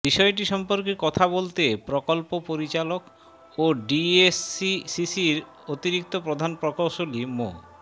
বিষয়টি সম্পর্কে কথা বলতে প্রকল্প পরিচালক ও ডিএসসিসির অতিরিক্ত প্রধান প্রকৌশলী মো